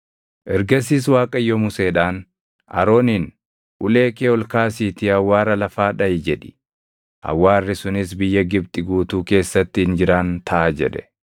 Ergasiis Waaqayyo Museedhaan, “Arooniin, ‘Ulee kee ol kaasiitii awwaara lafaa dhaʼi’ jedhi; awwaarri sunis biyya Gibxi guutuu keessatti injiraan taʼa” jedhe.